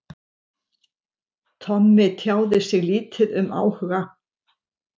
Tommi tjáði sig lítið um áhuga